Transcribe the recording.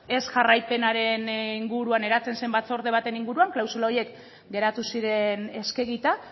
ez jarraipenaren inguruan eratzen zen batzorde baten inguruan klausula horiek geratu ziren eskegita